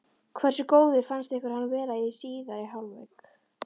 Hversu góður fannst ykkur hann vera í síðari hálfleik?